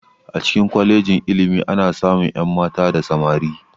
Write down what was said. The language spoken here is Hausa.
A cikin kwalejin ilimi ana samun ƴan mata da samari